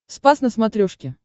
спас на смотрешке